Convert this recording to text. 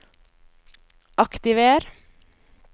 aktiver